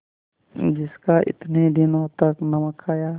जिसका इतने दिनों तक नमक खाया